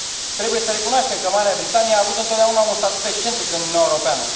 Trebuie să recunoaștem că Marea Britanie a avut întotdeauna un statut excentric în Uniunea Europeană.